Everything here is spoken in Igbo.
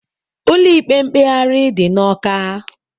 Ụlọ ikpe mkpegharị dị na Ọka.